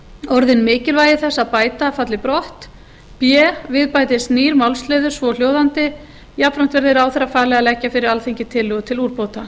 orðin mikilvægi þess að bæta falli brott b við bætist nýr málsliður svohljóðandi jafnframt verði ráðherra falið að leggja fyrir alþingi tillögur til úrbóta